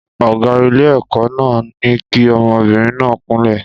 Ọ̀gá ilé-ẹ̀kọ́ náà ní kí ọmọbìnrin náà kúnlẹ̀.